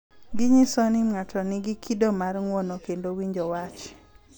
Ginyiso ni ng’ato nigi kido mar ng’uono kendo winjo wach.